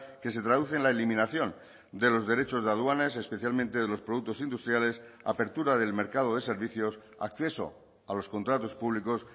que se traduce en la eliminación de los derechos de aduanas especialmente de los productos industriales apertura del mercado de servicios acceso a los contratos públicos